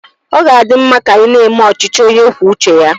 Ọ ga-adi mma ka anyị na-eme ọchịchị onye kwuo uche ya.